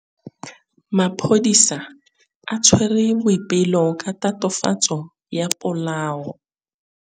Maphodisa a tshwere Boipelo ka tatofatsô ya polaô.